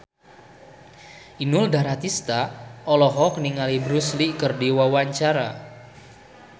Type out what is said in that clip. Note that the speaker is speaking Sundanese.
Inul Daratista olohok ningali Bruce Lee keur diwawancara